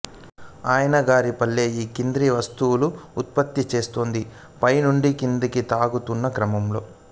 అయ్యన్నగారిపల్లె ఈ కింది వస్తువులు ఉత్పత్తి చేస్తోంది పై నుంచి కిందికి తగ్గుతున్న క్రమంలో